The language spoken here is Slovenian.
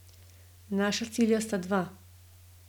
Naša cilja sta dva.